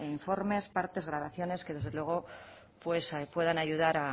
informes partes grabaciones que desde luego puedan ayudar